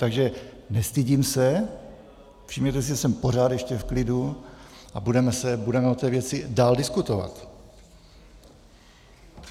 Takže nestydím se, všimněte si, že jsem pořád ještě v klidu, a budeme o té věci dál diskutovat.